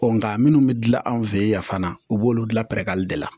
nka minnu bɛ dilan an fɛ yen yan fana u b'olu dilan pɛrikali de la